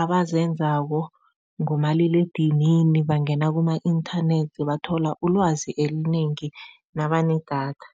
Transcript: abazenzako ngomaliledinini bangena kuma-inthanethi, bathola ilwazi elinengi nabanedatha.